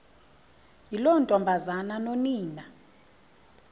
yiloo ntombazana nonina